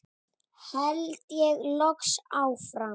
held ég loks áfram.